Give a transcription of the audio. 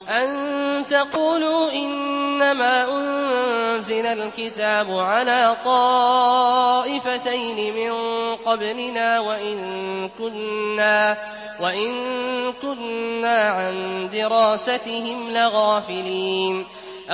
أَن تَقُولُوا إِنَّمَا أُنزِلَ الْكِتَابُ عَلَىٰ طَائِفَتَيْنِ مِن قَبْلِنَا وَإِن كُنَّا عَن دِرَاسَتِهِمْ لَغَافِلِينَ